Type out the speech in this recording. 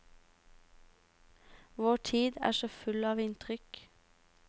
Vår tid er så full av inntrykk.